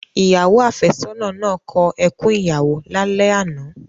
Ìyàwó áfẹ́sọ́nà náà kọ ẹkún ìyàwó lálẹ́ àná.